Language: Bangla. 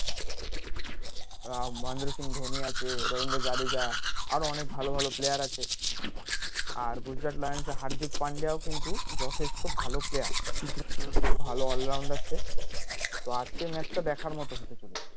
আর মহেন্দ্র সিং ধোনি আছে রবীন্দ্র জাদেজা আরো অনেক ভালো ভালো player আছে আর গুজরাট লায়ন্স এর হার্দিক পান্ডিয়া ও কিন্ত যথেষ্ট ভালো player খুব ভালো all rounder তো আজকের match টা দেখার মতো হতে চলেছে